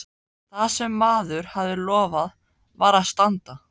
Það sem maður hafði lofað varð að standa.